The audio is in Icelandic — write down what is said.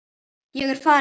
Ég er farinn